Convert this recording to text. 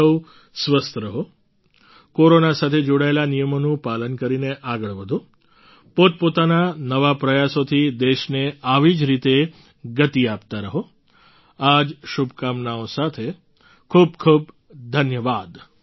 તમે સહુ સ્વસ્થ રહો કોરોના સાથે જોડાયેલા નિયમોનું પાલન કરીને આગળ વધો પોતપોતાના નવા પ્રયાસોથી દેશને આવી જ રીતે ગતિ આપતા રહો આ જ શુભકામનાઓ સાથે ખૂબ ખૂબ ધન્યવાદ